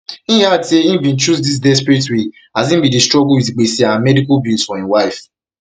im add say im bin chose dis desperate way as im bin dey struggle wit gbese and medical bills for im wife